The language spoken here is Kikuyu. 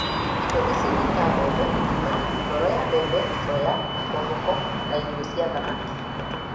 Indo ici nĩta mbembe ng'ima, ngoro ya mbembe ,soya , makomboko na irio cia thamaki.